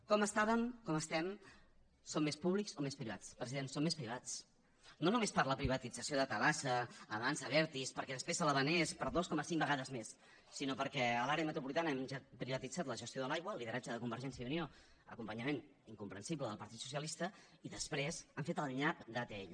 com estàvem com estem som més públics o més privats president som més privats no només per la privatització de tabasa avançsa abertis perquè després se la vengués per dos coma cinc vegades més sinó perquè a l’àrea metropolitana hem privatitzat la gestió de l’aigua lideratge de convergència i unió acompanyament incomprensible del partit socialista i després han fet el nyap d’atll